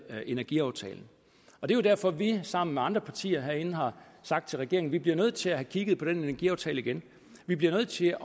energiaftalen det er derfor at vi sammen med andre partier herinde har sagt til regeringen at vi bliver nødt til at kigge på den energiaftale igen vi bliver nødt til